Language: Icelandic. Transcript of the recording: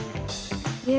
ég